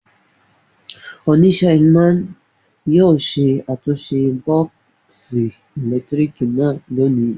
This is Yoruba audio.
Oníṣẹ́ iná yóò ṣe àtúnṣe bọ́ọ́sì ẹ̀lẹ́tíríkì náà lónìí.